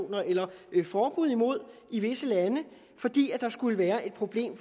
på eller forbud mod i visse lande fordi der skulle være et problem